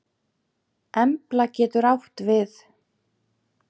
Embla getur átt við